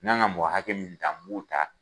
N ka kan ka mɔgɔ hakɛ min ta n b'u ta.